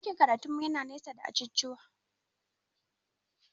Ɗakin karatun mu yana nesa da ajujuwa